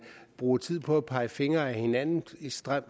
bruger tid på at pege fingre ad hinanden